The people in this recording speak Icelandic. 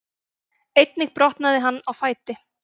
Einnig brotnaði hann á fæti